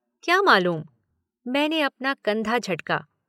क्या मालूम, मैंने अपना कंधा झटका